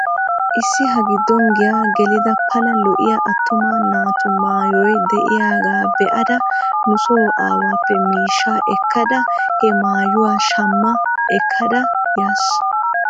Issi ha giddon giyaa gelida pala lo'iyaa attuma naatu maayoy de'yaagga be'adda nuso aawaappe miishshaa ekkada he maayuwaa shamma ekkada yaas.